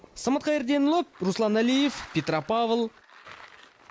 самат қайырденұлы руслан әлиев петропавл